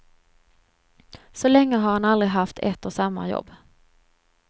Så länge har han aldrig haft ett och samma jobb.